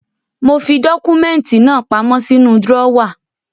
Mo fi dọ́kúmẹ́ntì náà pamọ́ sínú drọ́wà.